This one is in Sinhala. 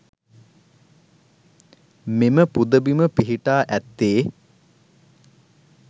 මෙම පුදබිම පිහිටා ඇත්තේ